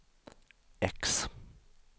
X